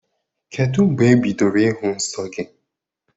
Kedu mgbe ị bidoro ịhụ nsọ gị?